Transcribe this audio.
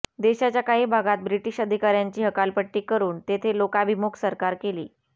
देशाच्या काही भागांत ब्रिटिश अधिकाऱ्यांची हकालपट्टी करून तेथे लोकाभिमुख सरकार केली